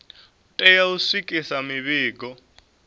u tea u swikisa mivhigo